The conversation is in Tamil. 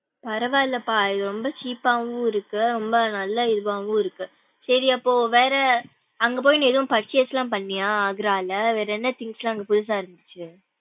பரவா இல்லப்பா இது ரொம்ப cheap வும் இருக்கு ரொம்ப நல்ல இதுவாவும் இருக்கு சேரி அப்போ வேற அங்க போயி நீ எதுவும் purchase லாம் பண்ணியா ஆக்ராலா வேற என்ன things லாம் அங்க புதுசா இருந்துச்சு.